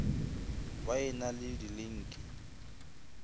ba e na le dilinki